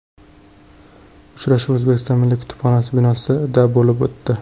Uchrashuv O‘zbekiston milliy kutubxonasi binosida bo‘lib o‘tdi.